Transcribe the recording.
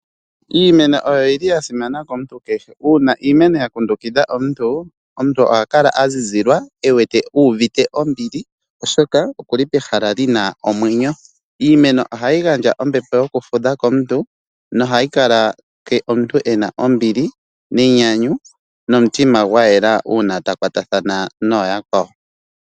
Iimeno oyo yili ya simana komuntu kehe, uuna iimeno ngele ya kundukidha omuntu, omuntu ohaka la azizilwa ewete uvite ombili oshoka okuli pehala lyina omwenyo. Iimeno ohayi gandja ombepo yokuthudha komuntu no hayi kaleke omuntu ena ombili nenyanyu nomutima gwayela uuna ta kwatathana nooyakwawo.